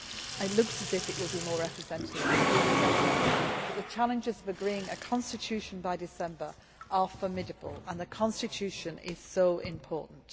It looks as if it will be more representative than its predecessor, but the challenges of agreeing a constitution by December are formidable, and the constitution is so important.